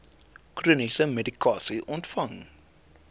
chroniese medikasie ontvang